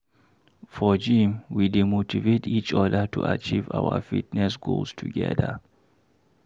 For gym, we dey motivate each other to achieve our fitness goals together.